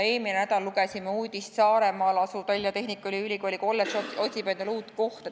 Eelmisel nädalal lugesime, et Saaremaal asuv Tallinna Tehnikaülikooli kolledž otsib endale uut kohta.